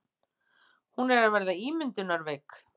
Hún er að verða ímyndunarveik.